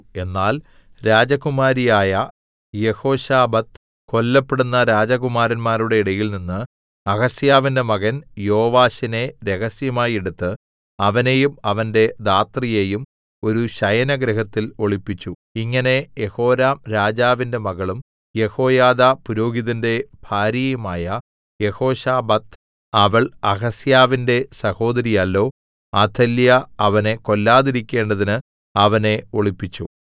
എന്നാൽ രാജകുമാരിയായ യെഹോശബത്ത് കൊല്ലപ്പെടുന്ന രാജകുമാരന്മാരുടെ ഇടയിൽനിന്ന് അഹസ്യാവിന്റെ മകൻ യോവാശിനെ രഹസ്യമായി എടുത്ത് അവനെയും അവന്റെ ധാത്രിയെയും ഒരു ശയനഗൃഹത്തിൽ ഒളിപ്പിച്ചു ഇങ്ങനെ യെഹോരാം രാജാവിന്റെ മകളും യെഹോയാദാ പുരോഹിതന്റെ ഭാര്യയുമായ യെഹോശബത്ത് അവൾ അഹസ്യാവിന്റെ സഹോദരിയല്ലോ അഥല്യാ അവനെ കൊല്ലാതിരിക്കേണ്ടതിന് അവനെ ഒളിപ്പിച്ചു